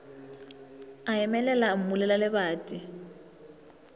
a emelela o mmulela lebati